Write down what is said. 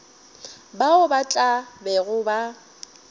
bao ba tla bego ba